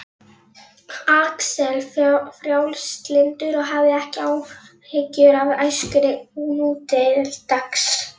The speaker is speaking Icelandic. Axel frjálslyndur og hafði ekki áhyggjur af æskunni nútildags